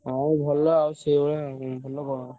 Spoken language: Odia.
ହଁ ଭଲ ଆଉ ସେଇଭଳିଆ ଆଉ, ଭଲ କଣ?